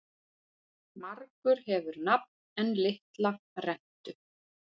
Margur hefur nafn en litla rentu.